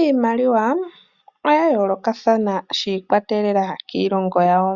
Iimaliwa oya yoolokathana shiikwatelela kiilongo yawo